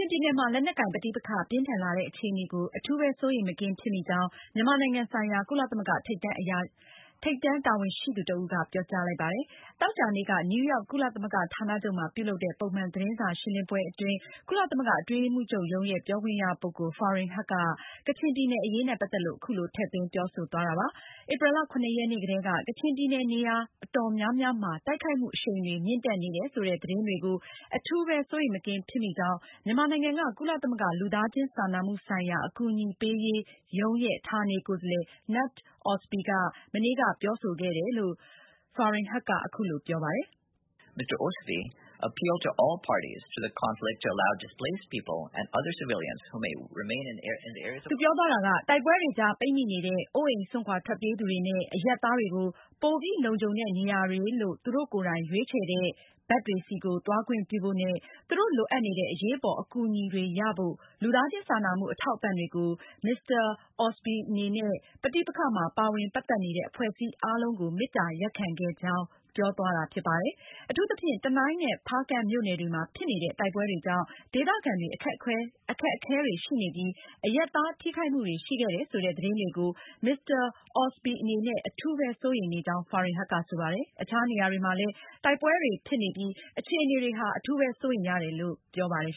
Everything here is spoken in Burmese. င်ပြည်နယ်မှာ လက်နက်ကိုင်ပဋိပက္ခ ပြင်းထန်လာတဲ့အခြေအနေကို အထူးပဲ စိုးရိမ်မကင်းဖြစ်မိကြောင်း မြန်မာနိုင်ငံဆိုင်ရာ ကုလသမဂ္ဂထိပ်တန်းတာဝန်ရှိသူတဦးက ပြောကြားလိုက်ပါတယ်။ သောကြာနေ့က နယူးရောက် ကုလသမဂ္ဂဌာနချုပ်မှာပြုလုပ်တဲ့ ပုံမှန်သတင်းစာရှင်းလင်းပွဲအတွင်း ကုလသမဂ္ဂအတွင်းရေးမှူးချုပ်ရုံးရဲ့ ပြောခွင့်ရ ပုဂ္ဂိုလ် Farhan Haq က ကချင်ပဋိပက္ခကို အခုလို ထည့်သွင်းပြောဆိုသွားတာပါ။ ဧပြီလ (၇)ရက်နေ့ကတည်းက ကချင်ပြည်နယ် နေရာအတော်များများမှာ တိုက်ခိုက်မှုအရှိန်တွေမြင့်တက်နေတယ်ဆိုတဲ့ သတင်းတွေကို အထူးပဲ စိုးရိမ်မကင်းဖြစ်မိကြောင်း မြန်မာနိုင်ငံက ကုလသမဂ္ဂ လူသားချင်းစာနာမှုဆိုင်ရာ အကူအညီပေးရေးရုံးရဲ့ ဌာနေကိုယ်စားလှယ် Knut Ostby က မနေ့က ပြောဆိုခဲ့ကြောင်း သူက အခုလိုပြောပါတယ်။ “တိုက်ပွဲတွေကြားပိတ်မိနေတဲ့ အိုးအိမ်စွန့်ခွာထွက်ပြေးသူတွေနဲ့ အရပ်သားတွေကို ပိုပြီးလုံခြုံတဲ့ နေရာတွေလို့ သူတို့ကိုယ်တိုင်ရွေးချယ်တဲ့ နေရာတွေဘက်ကို သွားခွင့်ပြုဖိုနဲ့ သူတို့လိုအပ်နေတဲ့ အရေးပေါ်အကူအညီတွေရဖို့ လူသားချင်းစာနာမှုအထောက်အပံတွေကို Mr. Ostby ကနေ ပဋိပက္ခမှာ ပါဝင်ပတ်သက်နေတဲ့ အဖွဲ့အစည်းအားလုံးကို မေတ္တာရပ်ခံခဲ့ပါတယ်။” အထူးသဖြင့် တနိုင်းနဲ့ ဖားကန့်မြို့နယ်တွေမှာ ဖြစ်နေတဲ့ တိုက်ပွဲတွေကြောင့် ဒေသခံတွေ အခက်အခဲတွေရှိနေပြီး အရပ်သားထိခိုက်မှုတွေရှိခဲ့တယ်ဆိုတဲ့ သတင်းတွေကို Mr. Ostby အနေနဲ့ အထူးပဲ စိုးရိမ်နေကြောင်း Farhan Haq ကဆိုပါတယ်။ အခြားနေရာတွေမှာလည်း တိုက်ပွဲတွေဖြစ်နေပြီး အခြေအနေတွေဟာ အထူးပဲစိုးရိမ်ရတယ်လို့လည်း ပြောပါတယ်